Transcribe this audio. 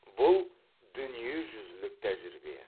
бұл дүниежүзілік тәжірибе